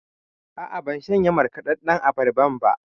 A'a, ban shanye markaɗaɗɗan abarban ba.